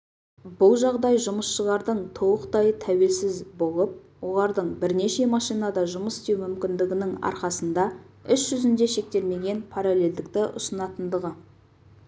бұл жағдай жұмысшылардың толықтай тәуелсіз болып олардың бірнеше машинада жұмыс істеу мүмкіндігінің арқасында іс жүзінде шектелмеген параллельдікті ұсынатындығы